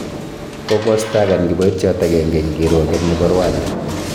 Kokistakan kiboityot agenge eng kirwoget nebo Rwanda